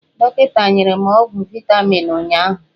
Dọkịta nyere m ọgwụ vaitamin ụnyụahụ.